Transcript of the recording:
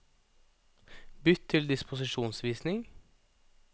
Bytt til disposisjonsvisning